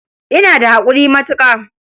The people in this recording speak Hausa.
Ina da haƙuri matuƙa.